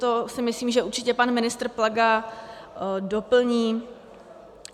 To si myslím, že určitě pan ministr Plaga doplní.